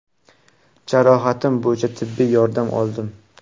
Jarohatim bo‘yicha tibbiy yordam oldim.